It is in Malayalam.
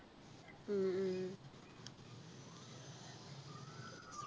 ഉം